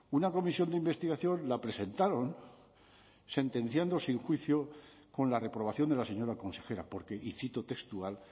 una comisión de investigación la presentaron sentenciando sin juicio con la reprobación de la señora consejera porque y cito textual